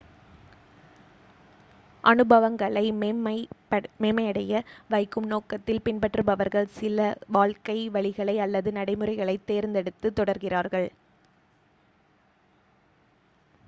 அனுபவங்களை மேம்மையடைய வைக்கும் நோக்கத்தில் பின்பற்றுபவர்கள் சில வாழ்க்கை வழிகளை அல்லது நடைமுறைகளைத் தேர்ந்தெடுத்து தொடர்கிறார்கள்